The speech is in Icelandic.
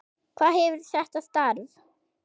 Hvað gefur þetta starf?